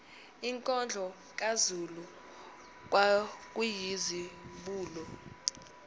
inkondlo kazulu kwakuyizibulo